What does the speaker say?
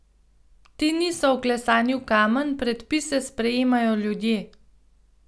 Ti niso vklesani v kamen, predpise sprejemajo ljudje.